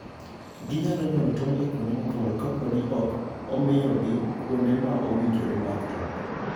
Ginyalo nyuolo tong' e kuonde mopondo kapo ni ok omiyogi kuonde ma owinjore mar toko.